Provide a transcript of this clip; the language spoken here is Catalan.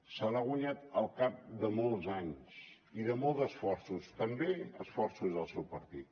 se l’ha guanyat al cap de molts anys i de molts esforços també esforços del seu partit